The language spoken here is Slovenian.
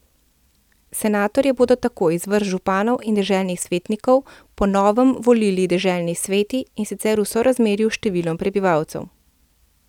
Senatorje bodo tako iz vrst županov in deželnih svetnikov po novem volili deželni sveti, in sicer v sorazmerju s številom prebivalcev.